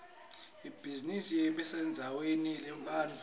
ibhizinisi kumele ibesendzaweni lenebantfu